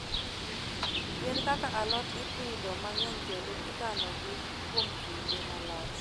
Yien kaka alot ipidho mang'eny kendo ikanogi kuom kinde malach.